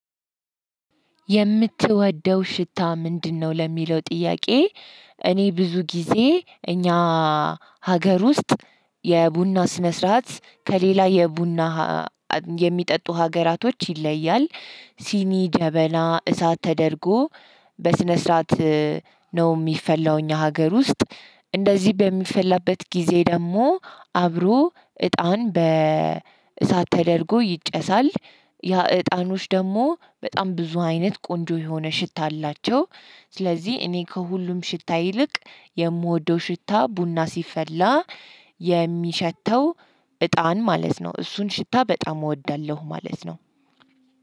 የምትወደው ሽታ ምንድነው ለሚለው ጥያቄ? እኔ ብዙ ጊዜ እኛ ሀገር ውስጥ የቡና ስነ ስርዓት ከሌላ የቡና የሚጠጡ ሀገራቶች ይለያል። ሲኒ ጀበና እሳት ተደርጎ በስነ ስርዓት ነው። ሚፈላው ሀገር ውስጥ እንደዚህ በሚፈላበት ጊዜ ደግሞ አብሮ እጣን በእሳት ተደርጎ ይጨሳል። ያ እጣኖች ደግሞ በጣም ብዙ አይነት ቆንጆ የሆነ ሽታ አላቸው። ስለዚህ እኔ ከሁሉም ሽታ ይልቅ የምወደው ሽታ ቡና ሲፈላ የሚሸተው እጣን ማለት ነው። እሱን ሽታ በጣም እወዳለሁ ማለት ነው።